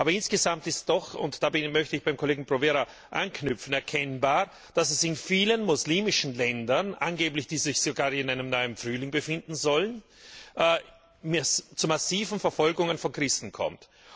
Aber insgesamt ist doch und da möchte ich beim Kollegen Provera anknüpfen erkennbar, dass es in vielen muslimischen Ländern, die sich angeblich sogar in einem neuen Frühling befinden sollen, zu massiven Verfolgungen von Christen kommt.